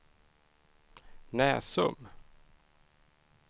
Näsum